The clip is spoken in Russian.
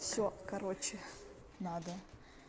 все короче надо